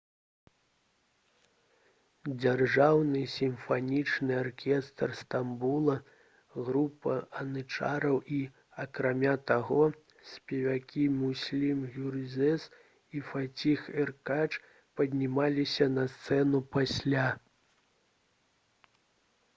дзяржаўны сімфанічны аркестр стамбула група янычараў і акрамя таго спевакі мюслюм гюрзэс і фаціх эркач паднімаліся на сцэну пасля